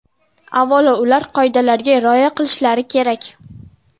Avvalo, ular qoidalarga rioya qilishlari kerak.